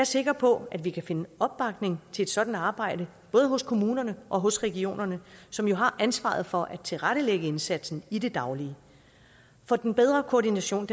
sikker på at vi kan finde opbakning til et sådant arbejde både hos kommunerne og hos regionerne som jo har ansvaret for at tilrettelægge indsatsen i det daglige for den bedre koordination